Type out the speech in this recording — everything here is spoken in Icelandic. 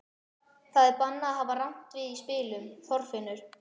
Það er bannað að hafa rangt við í spilum, Þorfinnur.